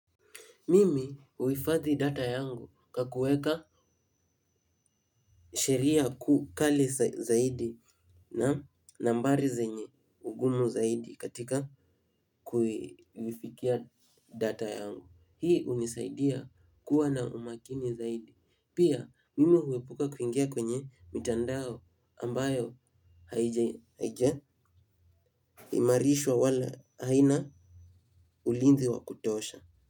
Mimi huhifathi data yangu kwa kuweka sheria kali zaidi na nambari zenye ugumu zaidi katika kuifikia data yangu. Hii unisaidia kuwa na umakini zaidi. Pia mimi huepuka kuingia kwenye mitandao ambayo haijaimarishwa wala haina ulinzi wa kutosha.